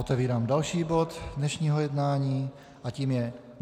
Otevírám další bod dnešního jednání a tím je